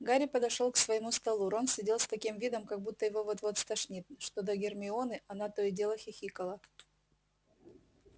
гарри подошёл к своему столу рон сидел с таким видом как будто его вот-вот стошнит что до гермионы она то и дело хихикала